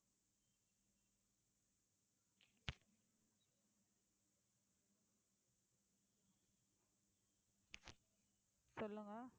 சொல்லுங்க